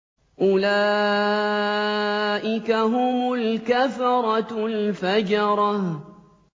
أُولَٰئِكَ هُمُ الْكَفَرَةُ الْفَجَرَةُ